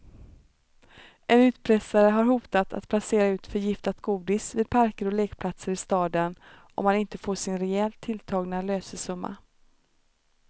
En utpressare har hotat att placera ut förgiftat godis vid parker och lekplatser i staden om han inte får sin rejält tilltagna lösesumma.